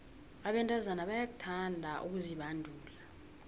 abentazana bayakuthanda ukuzibandula